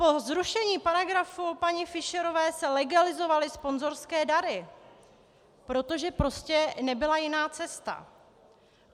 Po zrušení paragrafu paní Fischerové se legalizovaly sponzorské dary, protože prostě nebyla jiná cesta.